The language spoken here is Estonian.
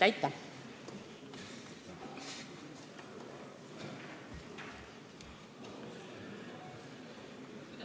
Aitäh!